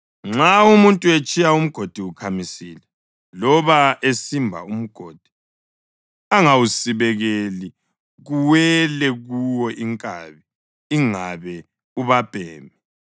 Nxa umuntu etshiya umgodi ukhamisile, loba esimba umgodi angawusibekeli kuwele kuwo inkabi ingabe ubabhemi,